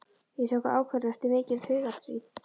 Ég tók ákvörðun eftir mikið hugarstríð.